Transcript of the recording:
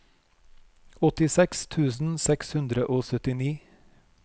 åttiseks tusen seks hundre og syttini